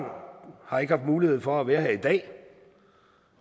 har ikke haft mulighed for at være her i dag